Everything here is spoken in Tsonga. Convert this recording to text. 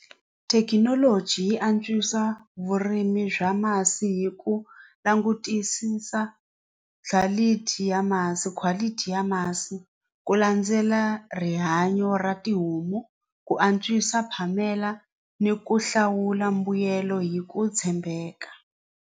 Thekinoloji yi antswisa vurimi bya masi hi ku langutisisa quality ya masi quality ya masi ku landzela rihanyo ra tihomu ku antswisa phamela ni ku hlawula mbuyelo hi ku tshembeka.